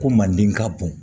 Ko manden ka bon